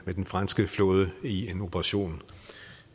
med den franske flåde i en operation